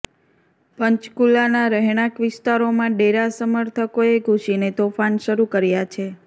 પંચકુલાના રહેણાક વિસ્તારોમાં ડેરા સમર્થકોએ ઘૂસીને તોફાન શરૂ કર્યાં છે